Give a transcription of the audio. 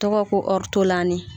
Tɔgɔ ko ɔrtolani.